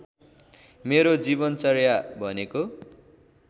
मेरो जीवनचर्या भनेको